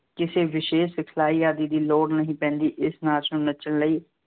ਕਿਸੇ ਵਿਸ਼ੇਸ਼ ਸਿਖਲਾਈ ਆਦਿ ਦੀ ਲੋੜ ਨਹੀਂ ਪੈਂਦੀ। ਇਸ ਨਾਚ ਨੂੰ ਨੱਚਣ ਲਈ